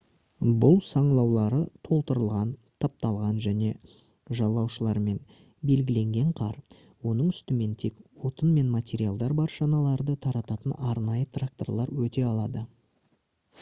бұл саңылаулары толтырылған тапталған және жалаушалармен белгіленген қар оның үстімен тек отын мен материалдар бар шаналарды тартатын арнайы тракторлар өте алады